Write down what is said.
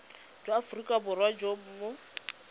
jwa aforika borwa jo bo